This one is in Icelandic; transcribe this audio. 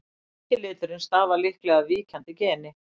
hvíti liturinn stafar líklega af víkjandi geni